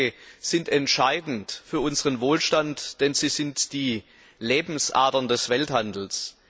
Seewege sind entscheidend für unseren Wohlstand, denn sie sind die Lebensadern des Welthandels.